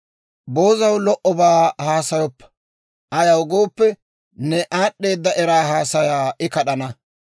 Boozaw lo"obaa haasayoppa; ayaw gooppe, ne aad'd'eeda era haasayaa I kad'ana.